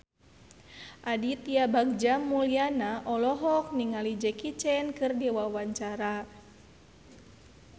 Aditya Bagja Mulyana olohok ningali Jackie Chan keur diwawancara